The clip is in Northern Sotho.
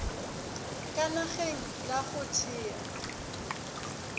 ka nageng la go thea